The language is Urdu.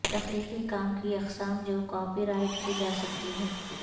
تخلیقی کام کی اقسام جو کاپی رائٹ کی جا سکتی ہے